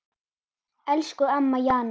Elsku amma Jana.